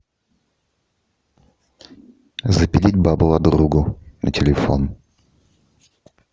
запилить бабла другу на телефон